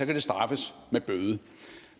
det straffes med bøde